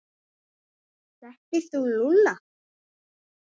Þekkir þú Lúlla?